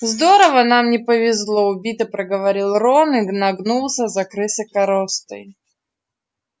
здорово нам не повезло убито проговорил рон и нагнулся за крысой коростой